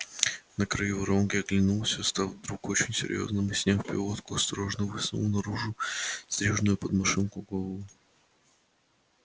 на краю воронки оглянулся став вдруг очень серьёзным и сняв пилотку осторожно высунул наружу стриженную под машинку голову